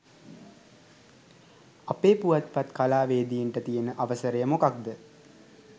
අපේ පුවත්පත් කලාවේදීන්ට තියන අවසරය මොකක්ද